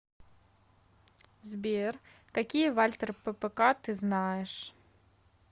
сбер какие вальтер ппк ты знаешь